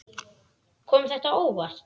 Kom þetta á óvart?